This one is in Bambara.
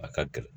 A ka gɛlɛn